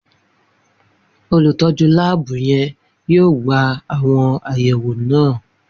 Olutọju laabu yẹn yoo gba awọn ayẹwo naa